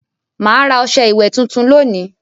Mà á ra ọṣẹ ìwẹ̀ tuntun lónìí.